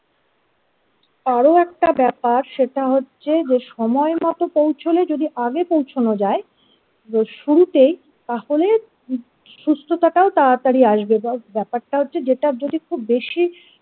আরও একটা ব্যাপার, সেটা হচ্ছে যে সময় মতো পৌঁছলে যদি আগে পৌঁছানো যায় রোজ শুরুতেই তাহলে সুস্থতাটাও তাড়াতাড়ি আসবে এবার ব্যপারটা হচ্ছে যেটা যদি খুব বেশি।